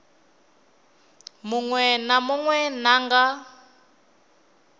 munwe na munwe na nga